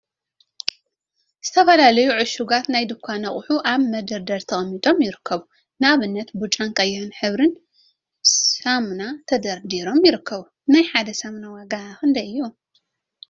ዝተፈላለዩ ዕሹጋት ናይ ድንኳን አቁሑ አብ መደርደሪ ተቀሚጦም ይርከቡ፡፡ ንአብነት ብጫን ቀይሕን ሕብሪ ሳሙና ተደርዲሮም ይረከቡ፡፡ ናይ ሓደ ሳሙና ዋጋ ክንደይ እዩ?